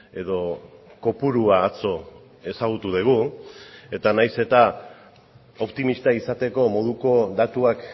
edo kopurua atzo ezagutu dugu eta nahiz eta optimista izateko moduko datuak